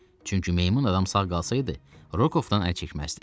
Çünki meymun adam sağ qalsaydı, Rokovdan əl çəkməzdi.